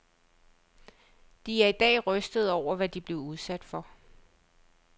De er i dag rystede over, hvad de blev udsat for.